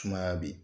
Sumaya be yen